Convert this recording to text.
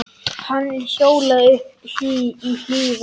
Hann hjólaði uppí Hlíðar.